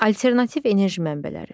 Alternativ enerji mənbələri.